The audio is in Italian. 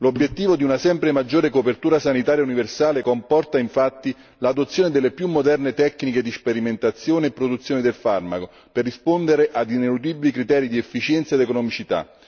L'obiettivo di una sempre maggiore copertura sanitaria universale comporta, infatti, l'adozione delle più moderne tecniche di sperimentazione e produzione del farmaco per rispondere a ineludibili criteri di efficienza ed economicità.